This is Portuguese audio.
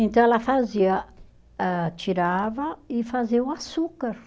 Então ela fazia, ah tirava e fazia o açúcar.